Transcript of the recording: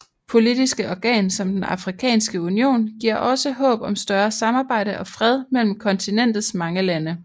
Politiske organ som den afrikanske union giver også håb om større samarbejde og fred mellem kontinentets mange lande